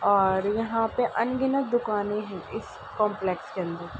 और यहां पे अनगिनत दुकाने है इस कॉम्प्लेक्स के अंदर।